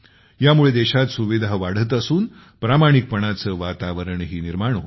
यामुळे देशात सुविधा वाढत असून प्रामाणिकपणाचे वातावरणही निर्माण होते आहे